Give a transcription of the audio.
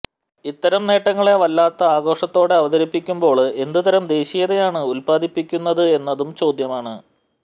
ഇത്തരം നേട്ടങ്ങളെ വല്ലാത്ത ആഘോഷത്തോടെ അവതരിപ്പിക്കുമ്പോള് എന്തുതരം ദേശീയതയാണ് ഉത്പാദിപ്പിക്കുന്നത് എന്നതും ചോദ്യമാണ്